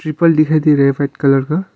फल दिखाई दे रहा है व्हाइट कलर का।